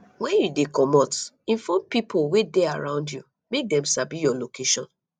when you dey comot inform pipo wey dey around you make dem sabi your location